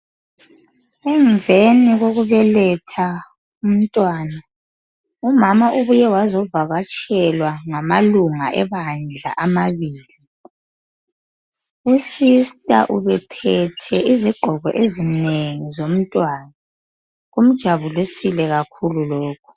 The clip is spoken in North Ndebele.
Emveni kolubeletha umntwana umama ubuye wazovakatshelwa ngamalunga ebandla amabili. Usista ubephethe izigqoko ezinengi zomntwana kumjabulisile kakhulu lokhu.